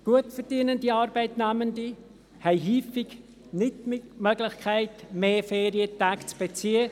Gut verdienende Arbeitnehmende haben häufig nicht die Möglichkeit, mehr Ferientage zu beziehen.